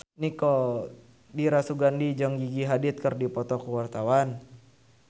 Dira Sugandi jeung Gigi Hadid keur dipoto ku wartawan